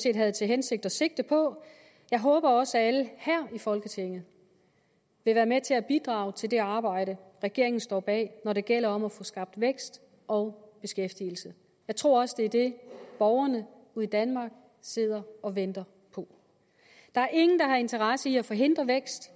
set havde til hensigt at sigte på jeg håber også at alle her i folketinget vil være med til at bidrage til det arbejde regeringen står bag når det gælder om at få skabt vækst og beskæftigelse jeg tror også at det er det borgerne ude i danmark sidder og venter på der er ingen der har interesse i at forhindre vækst